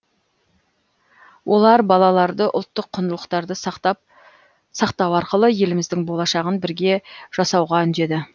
олар балаларды ұлттық құндылықтарды сақтау арқылы еліміздің болашағын бірге жасауға үндеді